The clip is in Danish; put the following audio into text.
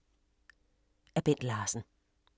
Af Bent Larsen